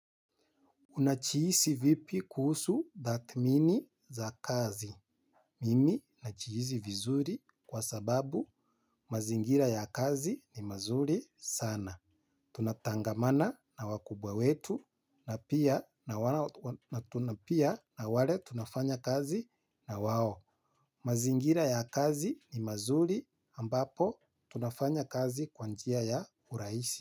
Unajihisi vipi kuhusu tathmini za kazi. Mimi najihisi vizuri kwa sababu mazingira ya kazi ni mazuri sana. Tunatangamana na wakubwa wetu na tunapia na wale tunafanya kazi na wao. Mazingira ya kazi ni mazuri ambapo tunafanya kazi kwa njia ya urahisi.